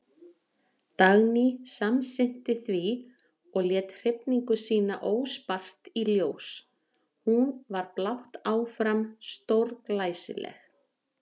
Dagný samsinnti því og lét hrifningu sína óspart í ljós, hún var blátt áfram stórglæsileg.